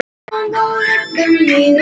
Neitaði síðan.